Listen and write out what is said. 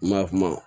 kuma